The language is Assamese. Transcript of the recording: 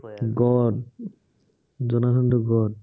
জনাৰ্থনটো God